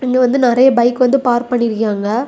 இது வந்து நிறைய பைக் வந்து பார்க் பண்ணி இருக்காங்க.